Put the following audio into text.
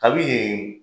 Kabi yen